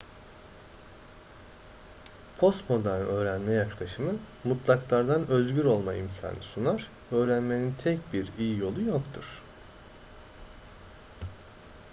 postmodern öğrenme yaklaşımı mutlaklardan özgür olma imkanı sunar öğrenmenin tek bir iyi yolu yoktur